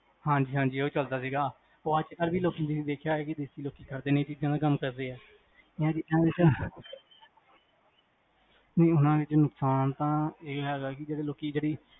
ਹਾਂਜੀ ਹਾਂਜੀ ਐਵੇ ਚਲਦਾ ਸੀਗਾ, ਅੱਜ ਕਲ ਵੀ ਲੋਕੀ ਤੁਸੀਂ ਦੇਖਿਆ ਹੋਣਾ ਦੇਸੀ ਲੋਕੀ ਕਰਦੇ ਨੇ ਇਨਾ ਚੀਜਾਂ ਕਾਮ